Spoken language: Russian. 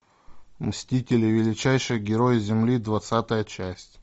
мстители величайшие герои земли двадцатая часть